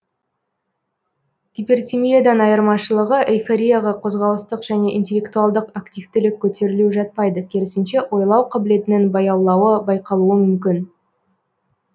гипертимиядан айырмашылығы эйфорияға қозғалыстық және интеллектуалдық активтілік көтерілуі жатпайды керісінше ойлау қабілетінің баяулауы байқалуы мүмкін